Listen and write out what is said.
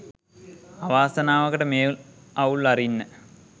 අවාසනාවකට මේ අවුල් අරින්න